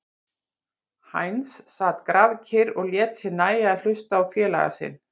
Heinz sat grafkyrr og lét sér nægja að hlusta á félaga sinn.